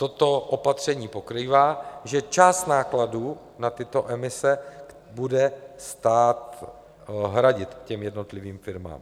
Toto opatření pokrývá, že část nákladů na tyto emise bude stát hradit těm jednotlivým firmám.